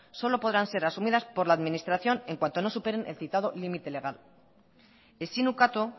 solo podrán ser asumidas por la administración en cuanto no superen el citado limite legal ezin ukatu